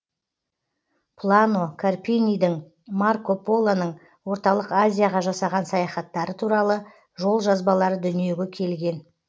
плано карпинидің марко полоның орталық азияға жасаған саяхаттары туралы жол жазбалары дүниеге келген